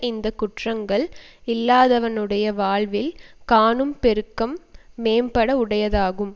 இந்த குற்றங்கள் இல்லாதவனுடைய வாழ்வில் காணும் பெருக்கம் மேம்பாடு உடையதாகும்